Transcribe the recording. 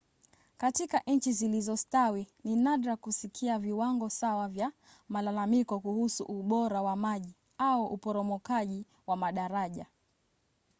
katika nchi zilizostawi ni nadra kusikia viwango sawa vya malalamiko kuhusu ubora wa maji au uporomokaji wa madaraja